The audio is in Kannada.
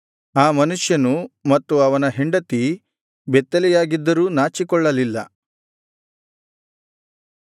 ಆ ಮನುಷ್ಯನು ಮತ್ತು ಅವನ ಹೆಂಡತಿ ಬೆತ್ತಲೆಯಾಗಿದ್ದರೂ ನಾಚಿಕೊಳ್ಳಲಿಲ್ಲ